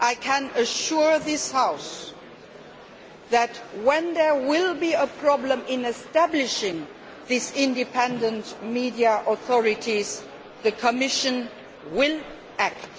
I can assure this House that whenever there is a problem in establishing these independent media authorities, the Commission will act.